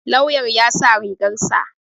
Lauyan ya sa rigar sa.